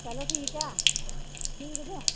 ਚਲੋ ਠੀਕ ਹੈ ਠੀਕ ਜੇ।